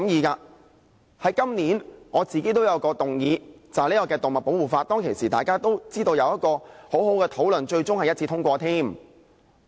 我自己在本年也有一項議案，就是"動物保護法"，當時也有很好的討論，最終更獲得一致通過。